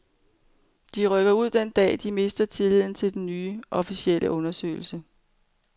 De rykker ud den dag, de mister tilliden til den nye, officielle undersøgelse.